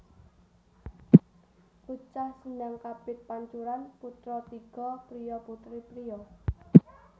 Bocah Sendhang kapit pancuran putra tiga priya putri priya